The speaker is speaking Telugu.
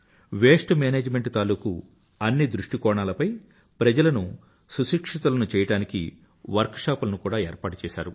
వేస్ట్ మేనేజ్మెంట్ తాలూకూ అన్ని దృష్టికోణాలపై ప్రజలను సుశిక్షితులను చెయ్యడానికి వర్క్ షాప్ లను కూడా ఏర్పాటుచేసారు